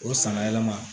O sanna yɛlɛma